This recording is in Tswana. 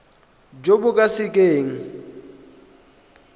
jo bo ka se keng